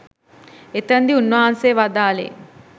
එතනදී උන්වහන්සේ වදාළේ